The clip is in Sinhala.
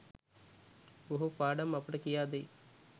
බොහෝ පාඩම් අපට කියාදෙයි